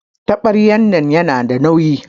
Tabaryan nan yana da nauyi.